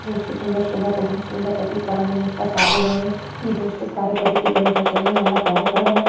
जो उसके सुंदर शोभा को बहोत सुंदर प्रतीत कराने में उसका साथ दे रहे हैं। एक व्यवस्थित कार्य पद्धति के अनुसार चलने वाला कार्यक्रम है।